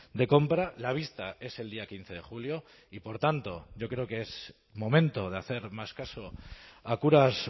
de compra la vista es el día quince de julio y por tanto yo creo que es momento de hacer más caso a curas